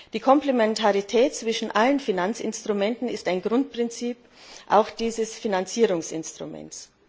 Die Komplementarität zwischen allen Finanzinstrumenten ist ein Grundprinzip auch dieses Finanzierungsinstruments.